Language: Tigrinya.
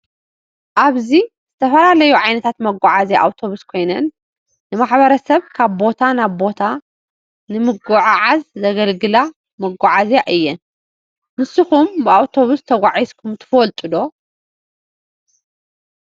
አብዚ ዝተፈላለዮ ዓይነታት መገዓዝያ አውቶብስ ኮይን ንማሕበረሰብ ካብ ቦታ ናብ ቦተንምጉዕዓዝ ዘገልግላ መጋዓዝያ እየን ። ንሰኩም ብአውቶብሰ ተጋዕዝኩም ትፈልጥ ዶ?